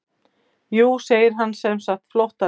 Jú segir hann semsagt flóttalegur.